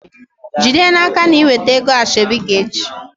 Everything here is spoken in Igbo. Jide n'aka na i weta ego asheobi gi echi!